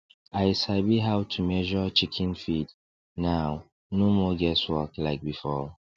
i sabi how to measure chicken feed now no more guess work like before